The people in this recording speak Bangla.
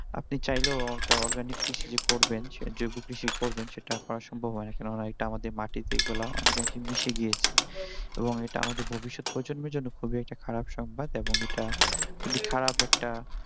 আপনি চাইলেও একটা organic কৃষি যে করবেন জৈব কৃষি করবেন সেটা করা সম্ভব হয় না কেননা এটা আমাদের মাটিতে এগুলা অনেক আগে মিশে গিয়েছে এবং এটা আমাদের ভবিষ্যৎ প্রজন্মের জন্য খুবই একটা খারাপ সংবাদ এবং এটা খুবই খারাপ একটা